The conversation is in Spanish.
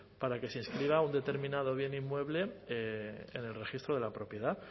para que se inscriba un determinado bien inmueble en el registro de la propiedad